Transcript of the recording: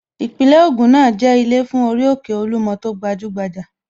Ìpínlẹ̀ Ògùn náà jẹ́ ilé fún orí òkè Olúmọ tó gbajúgbajà